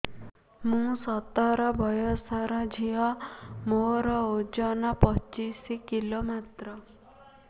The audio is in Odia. ମୁଁ ସତର ବୟସର ଝିଅ ମୋର ଓଜନ ପଚିଶି କିଲୋ ମାତ୍ର